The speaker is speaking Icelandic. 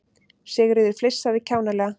Sigríður flissaði kjánalega.